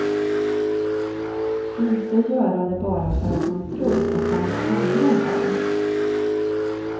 Inte göra det bara för att man tror att alla andra gör det.